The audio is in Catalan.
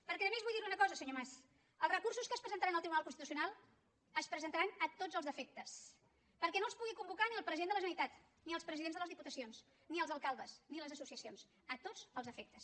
perquè a més vull dir li una cosa senyor mas els recursos que es presentaran al tribunal constitucional es presentaran a tots els efectes perquè no els pugui convocar ni el president de la generalitat ni els presidents de les diputacions ni els alcaldes ni les associacions a tots els efectes